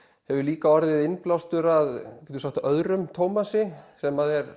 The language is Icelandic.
hefur líka orðið innblástur að öðrum Thomasi sem er